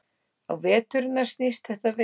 Á veturna snýst þetta við.